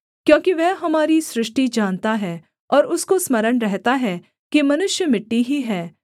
क्योंकि वह हमारी सृष्टि जानता है और उसको स्मरण रहता है कि मनुष्य मिट्टी ही है